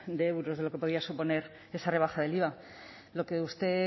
de euros de lo que podía suponer esa rebaja del iva lo que usted